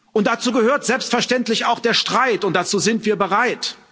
Und dazu gehört selbstverständlich auch der Streit, und dazu sind wir bereit.